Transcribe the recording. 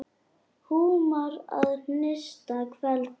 Húmar að hinsta kveldi.